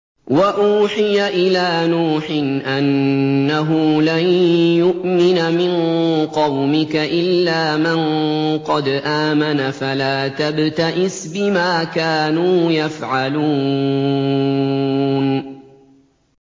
وَأُوحِيَ إِلَىٰ نُوحٍ أَنَّهُ لَن يُؤْمِنَ مِن قَوْمِكَ إِلَّا مَن قَدْ آمَنَ فَلَا تَبْتَئِسْ بِمَا كَانُوا يَفْعَلُونَ